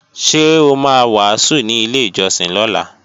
Ṣé o ma wàásù ní ilé ìjọsìn lọ́la?